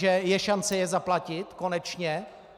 Že je šance je zaplatit - konečně?